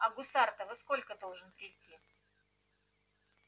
а гусар-то во сколько должен прийти